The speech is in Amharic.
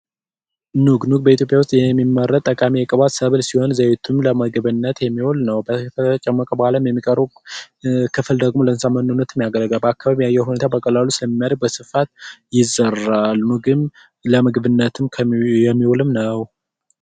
ኑግ በኢትዮጵያ ውስጥ የሚመረት ጠቃሚ የቅባት ሰብል ሲሆን ዘይቱም ለምግብነት የሚውል ነው። ፍሬው ከተጨመቀ በኋላ የሚቀረው ለእንስሳት መኖነት ያገለግላል። በአካባቢው የአየር ሁኔታ በቀላሉ ስለሚመረት በስፋት ይዘራል ኑግም ለምግብነት ነው።